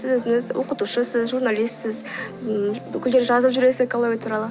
сіз өзіңіз оқытушысыз журналистсіз ммм бүкіл жерде жазып жүресіз экология туралы